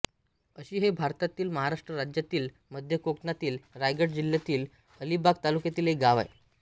अक्षी हे भारतातील महाराष्ट्र राज्यातील मध्य कोकणातील रायगड जिल्ह्यातील अलिबाग तालुक्यातील एक गाव आहे